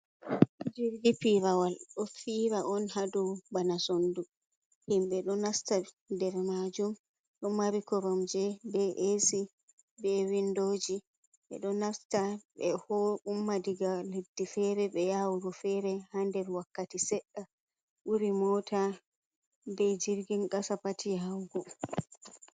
jirgi pirawal do fira on hadu bana sondu. Himbe ɗo nasta nder majum do mari korom je, be esi, be windoji. Ɓeɗo nasta be ho umma diga leddi fere be yawuru fere ha nder wakkati sedda buri mota be jirgin qasa pati yaugo.